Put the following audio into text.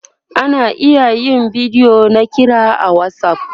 ana iya yin bidiyo na kira a WhatsApp